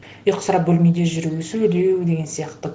ұйқысырап бөлмеде жүру сөйлеу деген сияқты